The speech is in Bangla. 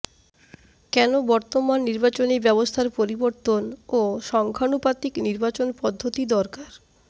কেন বর্তমান নির্বাচনী ব্যবস্থার পরিবর্তন ও সংখ্যানুপাতিক নির্বাচন পদ্ধতি দরকার